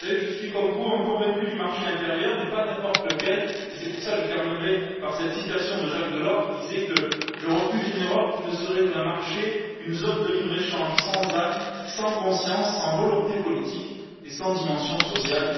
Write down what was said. Vous savez, je suis comme vous un convaincu du marché intérieur, mais pas n'importe lequel, et c'est pourquoi, je terminerai par cette citation de Jacques Delors qui disait Je refuse une Europe qui ne serait qu'un marché, qu'une zone de libre échange, sans âme, sans conscience, sans volonté politique et sans dimension sociale.